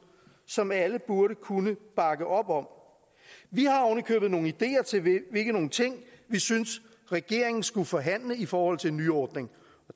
som alle burde kunne bakke op om vi har ovenikøbet nogle ideer til hvilke ting vi synes regeringen skulle forhandle i forhold til en nyordning